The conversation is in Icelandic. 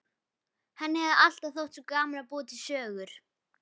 Henni hefur alltaf þótt svo gaman að búa til sögur.